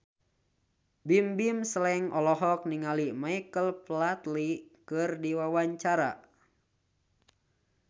Bimbim Slank olohok ningali Michael Flatley keur diwawancara